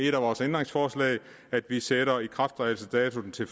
et af vores ændringsforslag at vi sætter ikrafttrædelsesdatoen til